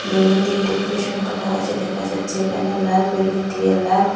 balloon দিয়ে decoration করা হয়েছে দেখা যাচ্ছে এখানে লাল বেলুন দিয়ে লাভ --